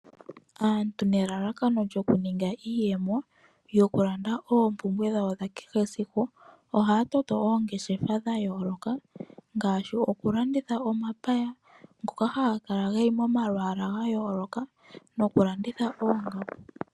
Aantu nelalakano lyokuninga iiyemo yokulanda oompumbwe dhawo dha kehe esiku. Ohaya toto oongeshefa dhayooloka ngaashi okulanditha omapaya ngoka haga kala geli momalwaala gayooloka nokulanditha oongaku.